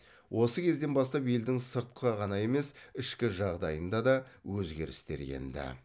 осы кезден бастап елдің сыртқы ғана емес ішкі жағдайына да өзгерістер енді